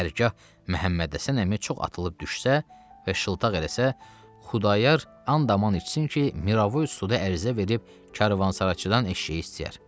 Hər gah Məhəmməd Həsən əmi çox atılıb düşsə və şıltaq eləsə, Xudayar and-aman içsin ki, Miravoy ustuda ərizə verib karvansaraçıdan eşşəyi istəyər.